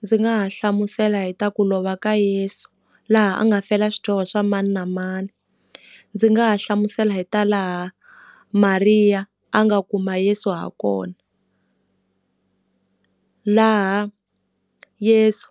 Ndzi nga ha hlamusela hi ta ku lova ka Yeso, laha a nga fela swidyoho swa mani na mani. Ndzi nga ha hlamusela hi ta laha Maria a nga kuma Yeso ha kona, laha Yesu